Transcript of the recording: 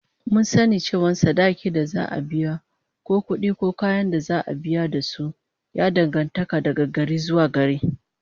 Mun sani cewa yawan sadakin da za'a biya da kuma kudi ko kayan da za'a biya da su, ya danganta daga gari zuwa gari